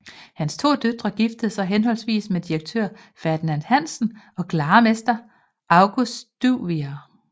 Hans to døtre giftede sig henholdsvis med direktør Ferdinand Hansen og glarmester August Duvier